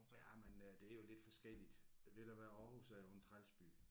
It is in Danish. Ja men øh det er jo lidt forskelligt ved du hvad Aarhus er jo en træls by